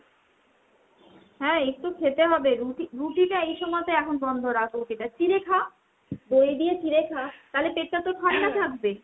হ্যাঁ একটু খেতে হবে। রুটি রুটিটা তো এই সময় এখন বন্ধ রাখ রুটিটা। চিড়ে খা। দই দিয়ে চিড়ে খা। তালে পেটটা তোর ঠান্ডা থাকবে।